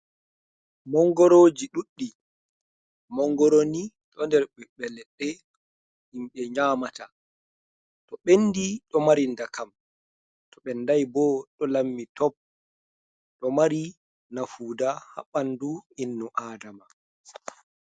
Mongoroji ɗuɗɗi, mongoro ni ɗo nder ɓiɓɓe leɗɗe himɓe nyamata. To ɓendi ɗo mari ndakam, to ɓendai bo ɗo lammi top. Ɗo mari nafuda ha ɓandu innu Adama.